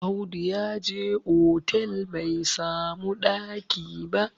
Audu ya je otal bai samu ɗaki ba